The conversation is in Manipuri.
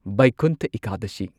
ꯚꯩꯀꯨꯟꯊ ꯏꯀꯥꯗꯁꯤ